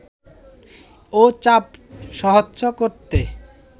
ও চাপ সহ্য করতে